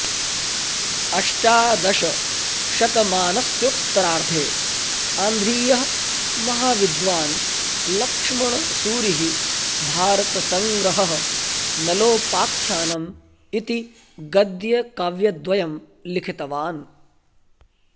अष्टादश शतमानस्योत्तरार्धे आन्ध्रीयः महाविद्वान् लक्ष्मणसूरिः भारतसङ्ग्रहः नलोपाख्यानम् इति गद्यकाव्यद्वयं लिखितवान्